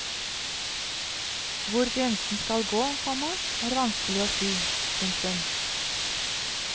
Hvor grensen skal gå, komma er vanskelig å si. punktum